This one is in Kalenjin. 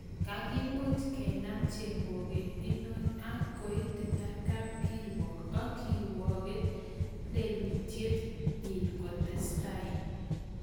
kagimuch kenam chemoget inot ak koititai kapkirwog ak kirwoget lelutiet inyin kotesetai.